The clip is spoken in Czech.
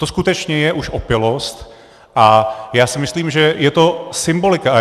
To skutečně je už opilost a já si myslím, že je to symbolika.